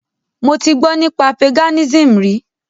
Mo ti gbọ́ nípa Paganism rí.